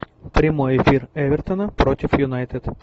прямой эфир эвертона против юнайтед